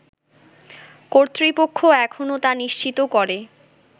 কর্তৃপক্ষ এখনও তা নিশ্চিত করে